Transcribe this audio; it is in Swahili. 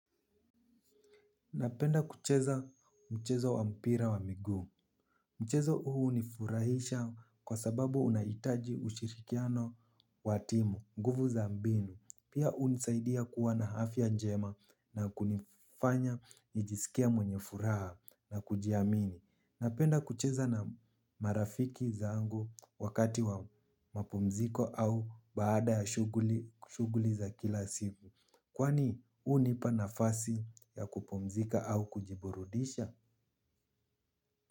Napenda kucheza mchezo wa mpira wa miguu. Mchezo huu hunifurahisha kwa sababu unahitaji ushirikiano wa timu, nguvu za mbinu. Pia hunisaidia kuwa na afya njema na kunifanya nijisikie mwenye furaha na kujiamini. Napenda kucheza na marafiki zangu wakati wa mapumziko au baada ya shughuli za kila siku. Kwani hunipa nafasi ya kupumzika au kujiburudisha?